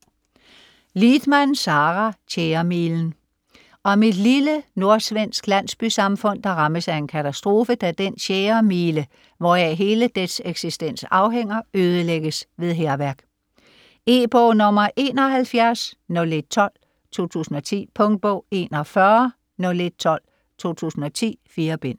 Lidman, Sara: Tjæremilen Om et lille nordsvensk landsbysamfund, der rammes af en katastrofe, da den tjæremile, hvoraf hele dets eksistens afhænger, ødelægges ved hærværk. E-bog 710112 2010. Punktbog 410112 2010. 4 bind.